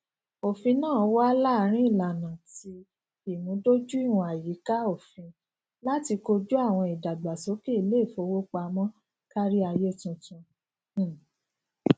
ofin naa wa laarin ilana ti imudojuiwọn ayika ofin lati koju awọn idagbasoke ileifowopamọ kariaye tuntun um